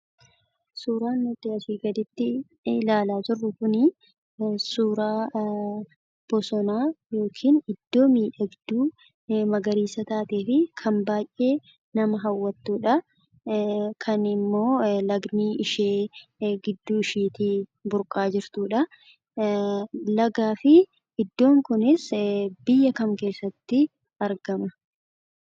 Suuraan nuti asii gaditti ilaalaa jirru kunii suuraa bosonaa yookin iddoo miidhagduu magariisa taatee fi kan baay'ee nama hawwattuudhaa. Kan immoo lagni ishee gidduushiitii burqaa jirtudhaa. Lagaa fi iddoon kunis biyya kam keessatti argama?